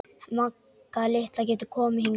Magga litla getur komið hingað.